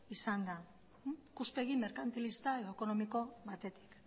izan da ikuspegi merkantilista edo ekonomiko batetik